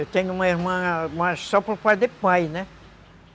Eu tenho uma irmã, mas só por parte de pai, né?